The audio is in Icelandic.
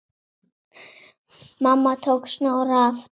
Mamma tók Snorra aftur.